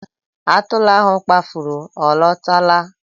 Atụrụ ahụ kpafuru ọ lọtara?